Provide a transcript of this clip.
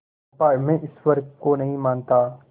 चंपा मैं ईश्वर को नहीं मानता